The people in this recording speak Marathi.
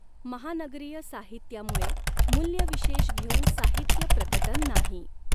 महानगरीय साहित्यामुळे मूल्यविशेष घेऊन साहित्य प्रकटन नाही.